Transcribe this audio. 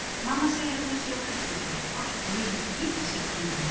Mamma segir að þær séu hættulegar, allt of mikill hvítasykur í þeim